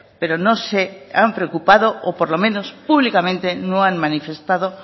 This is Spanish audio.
pero no se han preocupado o por lo menos públicamente no han manifestado